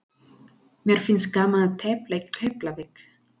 Mér finnst gaman að tefla í Keflavík.